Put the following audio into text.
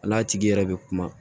A n'a tigi yɛrɛ bɛ kuma